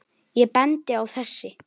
Ég bendi á þessi